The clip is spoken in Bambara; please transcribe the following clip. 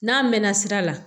N'a mɛnna sira la